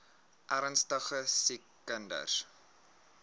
ernstige siek kinders